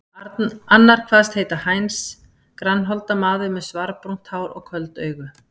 Annar kvaðst heita Heinz, grannholda maður með svarbrúnt hár og köld augu.